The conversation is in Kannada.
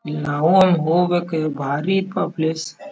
ನಾವು ಎಲ್ಲಿ ಹೋಗ್ಬೇಕು ಬಾರಿ ಪ ಪ್ಲೇಸ್ ಇದೆ.